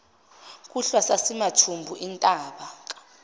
kuhlwa sasimathumbu entaka